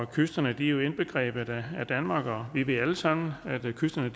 kysterne er jo indbegrebet af danmark og vi ved alle sammen at kysterne